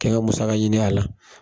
Kɛ n ka musaka ɲini a la.